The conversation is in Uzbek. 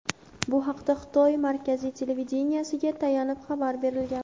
Bu haqda Xitoy markaziy televideniyesiga tayanib xabar berilgan.